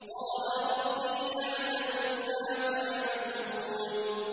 قَالَ رَبِّي أَعْلَمُ بِمَا تَعْمَلُونَ